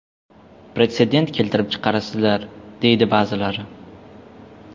Pretsedent keltirib chiqarasizlar”, deydi ba’zilari.